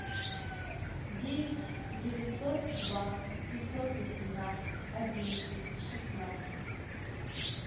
девять девятьсот два пятьсот восемнадцать одиннадцать шестнадцать